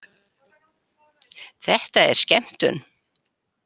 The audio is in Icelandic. Þetta er skemmtun